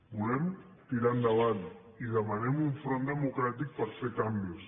volem tirar endavant i demanem un front democràtic per fer canvis